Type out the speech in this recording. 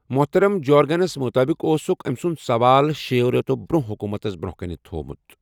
محترَم جیورگنسَس مُطٲبِق اوسُکھ أمۍ سُنٛد سوال شیٚیَو رٮ۪تَو برٛونٛہہ حکوٗمتَس برٛونٛہہ کَنہ تھوٚومُت۔